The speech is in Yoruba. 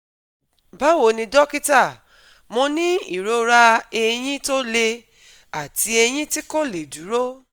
Báwo ni dọ́kítà, Mo ní ìrora eyín tó le àti eyín tí kò lè dúró